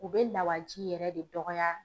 U bɛ lawaji yɛrɛ de dɔgɔya.